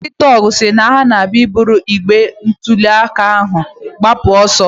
Ụfọdụ ndị tọgụ si na ha ga-ebụrụ igbe ntụliaka ahụ gbapụ ọsọ